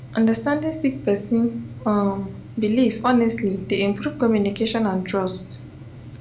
understanding sik person um bilif honestly dey improve communication and trust